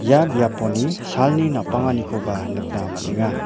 ia biaponi salni napanganikoba nikna man·enga.